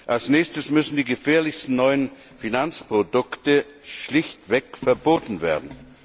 Als nächstes müssen die gefährlichsten neuen Finanzprodukte schlichtweg verboten werden.